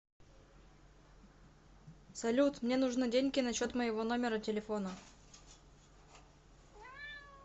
салют мне нужны деньги на счет моего номера телефона